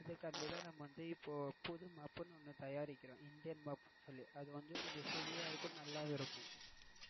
இதுக்கு வேண்டி தான் நாம புது mop னு ஒன்னு தயாரிக்கிறோம் இந்தியன் mop அது வந்து கொஞ்சம் heavy ஆஹ் இருக்கும் நல்லாவே இருக்கும்.